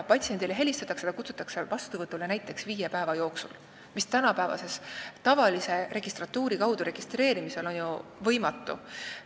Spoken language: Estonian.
Patsiendile helistatakse, ta kutsutakse vastuvõtule näiteks viie päeva jooksul – tänapäevase tavalise registratuuri kaudu registreerimisel on see ju võimatu.